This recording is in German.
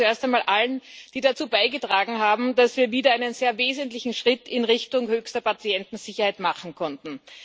Ich danke zuerst einmal allen, die dazu beigetragen haben, dass wir wieder einen sehr wesentlichen Schritt in Richtung höchster Patientensicherheit machen konnten.